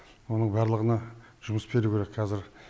оның барлығына жұмыс беру керек қазір